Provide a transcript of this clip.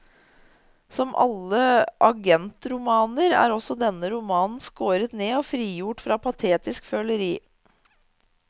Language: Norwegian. Som i alle agentromaner er også denne romanen skåret ned og frigjort fra patetisk føleri.